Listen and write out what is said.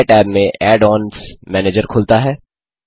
नए टैब में add ons manager खुलता है